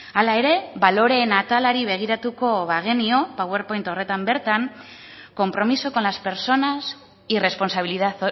hala ere baloreen atalari begiratuko bagenio powerpoint horretan bertan compromiso con las personas y responsabilidad